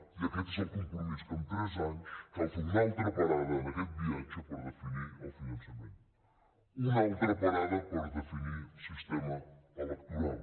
i aquest és el compromís que en tres anys cal fer una altra parada en aquest viatge per definir el finan·çament una altra parada per definir el sistema electo·ral